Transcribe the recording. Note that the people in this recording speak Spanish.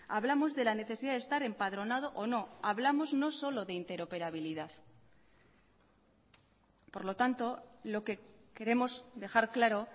hablamos de la necesidad de estar empadronado o no hablamos no solo de interoperabilidad por lo tanto lo que queremos dejar claro